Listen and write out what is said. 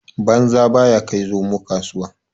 Banza baya kai zomo kasuwa.